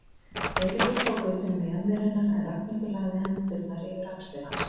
Eiríkur tók utan um mjaðmir hennar en Ragnhildur lagði hendurnar yfir axlir hans.